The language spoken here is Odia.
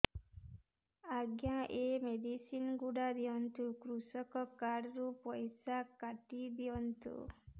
ଆଜ୍ଞା ଏ ମେଡିସିନ ଗୁଡା ଦିଅନ୍ତୁ କୃଷକ କାର୍ଡ ରୁ ପଇସା କାଟିଦିଅନ୍ତୁ